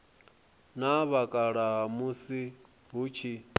na vhakalaha musi hu tshi